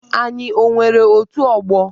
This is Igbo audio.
Anyị o nwere otù ọgbọ?